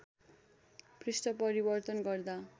पृष्ठ परिवर्तन गर्दा